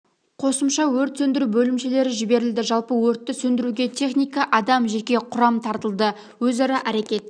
қосымша өрт сөндіру бөлімшелері жіберілді жалпы өртті сөндіруге техника адам жеке құрам тартылды өзара әрекет